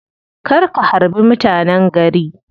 Kar ka harbi mutanen gari.